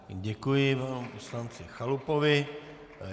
Děkuji panu poslanci Chalupovi.